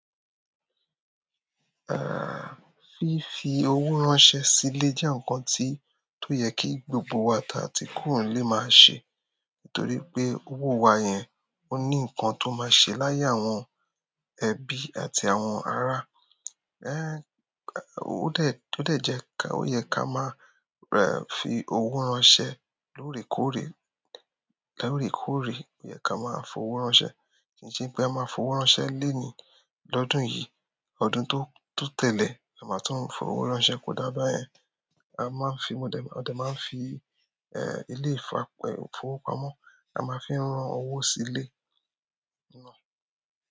Ah, fífi owó ránṣẹ́ sílé jẹ́ ǹkan tí, tó yẹ kí gbogbo wa tàati kúrò nile máa ṣe. Torí pe owo wa yẹn o ni nkan to ma ṣe laye àwọn ẹbi àti àwọn ara ẹ̀h, ó dẹ, ó dẹ jẹ́ ká, ó yẹ ká máa rẹ̀ fi owó ránṣẹ́ lóòrèkóòrè, lóòrèkóòrè ó yẹ ká máa f'owó ránṣẹ́. Kì í ṣe pé a máa fowó ránṣẹ́ léèní lọ́dún yìí, ọdún tó, tó tẹ́lẹ̀ a máa tún fowó ránṣẹ́, kò dá báyẹn. A máa ń fi, mo dẹ, a dẹ máa ń fi, eh, ilé ìfapẹ́ ìfowópamọ́, a máa fi ń rán owó sílé náà.